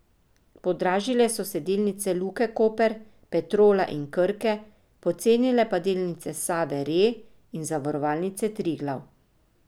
Podražile so se delnice Luke Koper, Petrola in Krke, pocenile pa delnice Save Re in Zavarovalnice Triglav.